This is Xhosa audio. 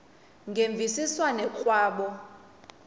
ngemvisiswano r kwabo